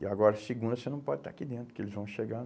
E agora, segunda, você não pode estar aqui dentro, que eles vão chegar.